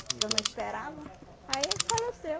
Que eu não esperava, aí ele faleceu.